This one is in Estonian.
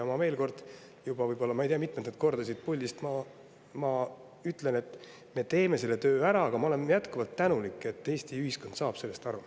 Ma ei tea mitmendat korda ma siit puldist ütlen, et me teeme selle töö ära, aga ma olen jätkuvalt tänulik, et Eesti ühiskond saab sellest aru.